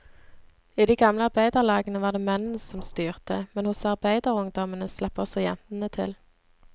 I de gamle arbeiderlagene var det mennene som styrte, men hos arbeiderungdommen slapp også jentene til.